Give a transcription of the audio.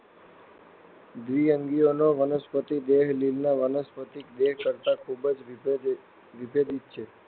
દ્વિઅંગીઓનો વનસ્પતિ દેહ લીલના વાનસ્પતિક દેહ કરતાં ખૂબ જ વિભેદિત છે.